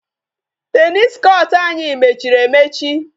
Tennis court anyị mechiri emechi.